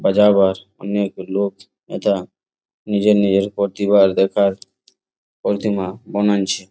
বাজাবার অনেক লোক এথা নিজের নিজের প্রতিভা দেখার প্রতিমা বানাইছে।